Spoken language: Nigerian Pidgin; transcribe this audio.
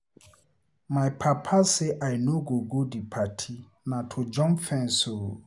My papa say I no go go the party, na to jump fence oo